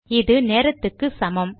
இது நேரத்துக்கு சமம்